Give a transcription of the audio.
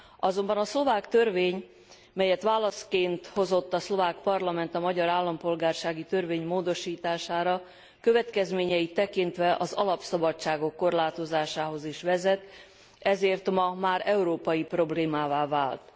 Azonban a szlovák törvény, melyet válaszként hozott a szlovák parlament a magyar állampolgársági törvény módosítására, következményeit tekintve az alapszabadságok korlátozásához is vezet, ezért ma már európai problémává vált.